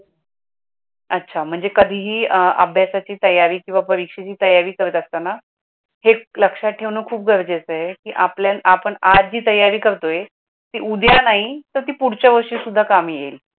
अच्छा म्हणजे कधीही अभ्यासाची तयारी किंवा परीक्षेची तयारी करत असताना, हे लक्षात डेवण खूप गरजेचे आहे की आपल्याला आपण आजची तयारी करतोय ती उद्या नाही तर ती पुढच्या वर्षी सुद्धा काम येईल.